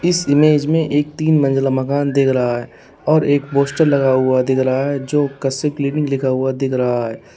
इस इमेज में एक तीन मंजिला मकान देख रहा है और एक पोस्टर लगा हुआ दिख रहा है जो कश्यप क्लीनिक लिखा हुआ दिख रहा है।